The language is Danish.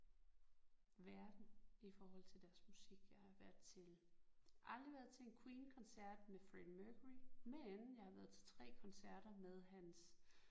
Verden i forhold til deres musik jeg har været til aldrig været til en Queen koncert med Freddie Mercury men jeg har været til 3 koncerter med hans